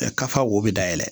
kafa wo bɛ dayɛlɛ